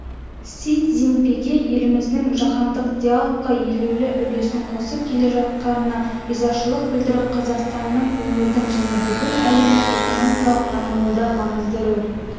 си цзиньпин еліміздің жаһандық диалогқа елеулі үлесін қосып келе жатқанына ризашылық білдіріп қазақстанның өңірдің және бүкіл әлемнің экономикалық дамуында маңызды рөл